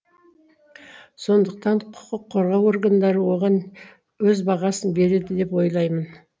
сондықтан құқық қорғау органдары оған өз бағасын береді деп ойлаймын